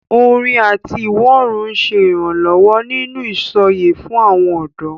Orin àti ìwọ́rùn ń ṣe ìrànlọ́wọ́ nínú ìsọ̀yè fún àwọn ọ̀dọ́.